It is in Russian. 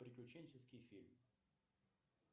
приключенческий фильм